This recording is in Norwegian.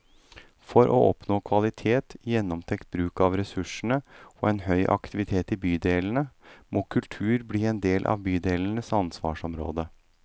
For å oppnå kvalitet, gjennomtenkt bruk av ressursene og en høy aktivitet i bydelene, må kultur bli en del av bydelenes ansvarsområde.